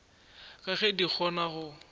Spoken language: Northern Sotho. ka ge di kgona go